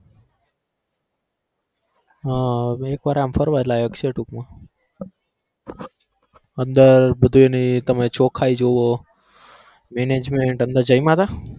હા એક વાર આમ ફરવા લાયક છે ટૂંક માં અંદર અંદર તમે બધાઈની ચોખાઇ જોવો management અંદર જયમાં તા?